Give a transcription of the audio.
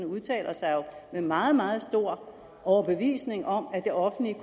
udtaler sig med meget meget stor overbevisning om at det offentlige